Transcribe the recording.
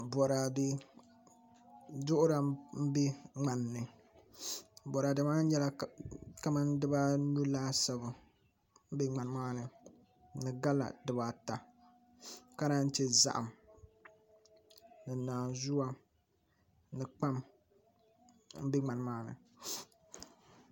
Boraadɛ duɣura n bɛ ŋmanni boraadɛ maa nyɛla kamani dibanu laasabu ka bɛ ŋmanni ni gala dibaata ni zaham ni naanzuwa ni kpam n bɛ ŋmani maa ni